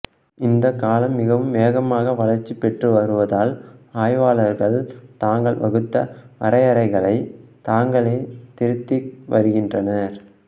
இந்தக் களம் மிகவும் வேகமாக வளர்ச்சி பெற்று வருவதால் ஆய்வாளர்கள் தாங்கள் வகுத்த வரையறைகளைத் தாங்களே திருத்தி வருகின்றனர்